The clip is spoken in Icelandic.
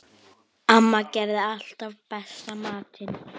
Amma gerði alltaf besta matinn.